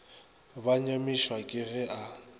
ba nyamišwa ke ge a